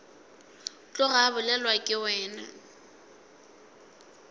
tloga a bolelwa ke wena